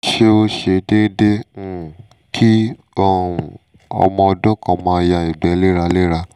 se o se deedee um ki um omo odun kan ma ya igbe lera lera?